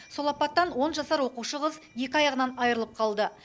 сол апаттан он жасар оқушы қыз екі аяғынан айырылып қалды